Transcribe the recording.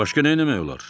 Başqa nə eləmək olar?